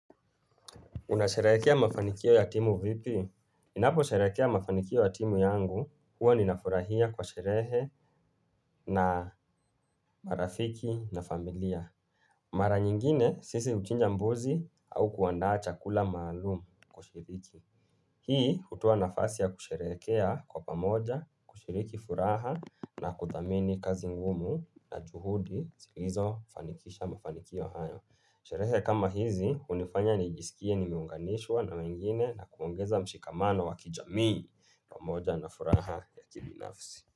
Unasherehekea mafanikio ya timu vipi? Ninapo sherehekea mafanikio ya timu yangu huwa ninafurahia kwa sherehe na marafiki na familia. Mara nyingine sisi huchinja mbuzi au kuandaa chakula maalumu kwa washiriki. Hii hutoa nafasi ya kusherehekea kwa pamoja, kushiriki furaha na kuthamini kazi ngumu na juhudi zilizofanikisha mafanikio hayo. Sherehe kama hizi, hunifanya nijisikie nimeunganishwa na wengine na kuongeza mshikamano wakijamii pamoja na furaha ya kibinafsi.